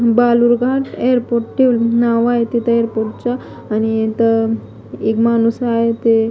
बालुरगा airport ठेवलं नाव आहे तिथं एअरपोर्टच आणि इथं माणूस आहे ते--